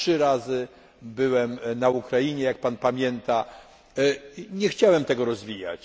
Trzy razy byłem na Ukrainie, jak pan pamięta, nie chciałem tego rozwijać.